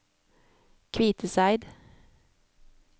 Kviteseid